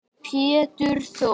Pétur Þór.